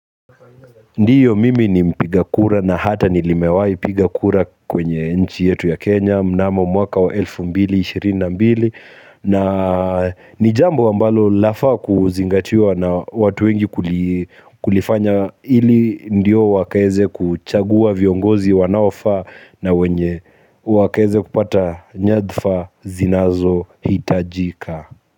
Ndiyo mimi ni mpigakura na hata nilimewai piga kura kwenye nchi yetu ya Kenya. Mnamo mwaka wa elfu mbili ishirini na mbili na ni jambo ambalo lafaa kuzingatiwa na watu wengi kulifanya ili ndio wakaeze kuchagua viongozi wanaofaa na wenye wakaeze kupata nyadhfa zinazohitajika.